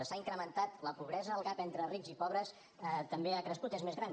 s’ha incrementat la pobresa el gap entre rics i pobres també ha crescut és més gran